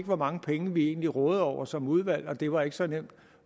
hvor mange penge vi egentlig rådede over som udvalg det var ikke så nemt